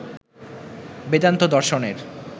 বেদান্ত দর্শনের